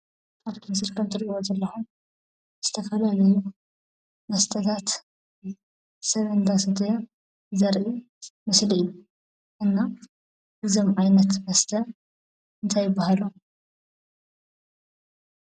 ኣብቲ ምስሊ ከም ትሪእዎ ዘለኹም ዝተፈላለዩ መስተታት ሰብ እንዳሰተየ ዘርኢ ምስሊ እዩ፡፡ እና እዞም ዓይነት መስተ እንታይ ይበሃሉ?